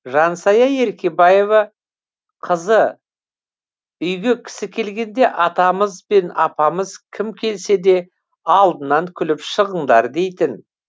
жансая еркебаева қызы үйге кісі келгенде атамыз бен апамыз кім келсе де алдынан күліп шығыңдар дейтін